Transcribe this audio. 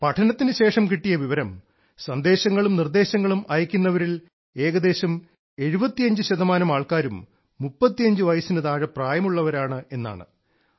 പഠനത്തിനുശേഷം കിട്ടിയ വിവരം സന്ദേശങ്ങളും നിർദ്ദേശങ്ങളും അയക്കുന്നവരിൽ ഏകദേശം 75 ശതമാനം ആൾക്കാരും 35 വയസ്സിനു താഴെ പ്രായമുള്ളവരാണ് എന്നാണ്